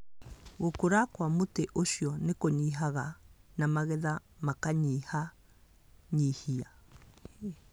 Gũkũra kwa mũtĩ ũcio nĩ kũnyihaga na magetha makanyihanyihia.